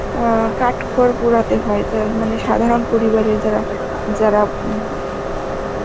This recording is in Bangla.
অ্যাঁ কাঠ খড় পোড়াতে হয় তার মানে সাধারণ পরিবারে যারা, যারা উম